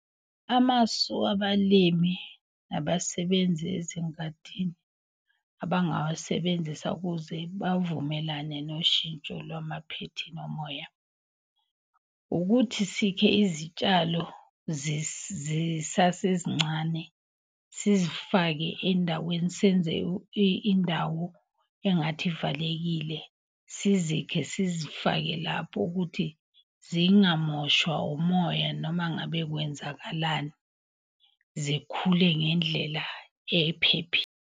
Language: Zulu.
Amasu abalimi nabasebenzi ezingadini abangawasebenzisa ukuze bavumelane noshintsho lwamaphethini omoya. Ukuthi sikhe izitshalo zisasezincane sizifake endaweni. Senze indawo engathi ivalekile, sizikhe sizifake lapho, ukuthi zingamoshwa umoya noma ngabe kwenzakalani. Zikhule ngendlela .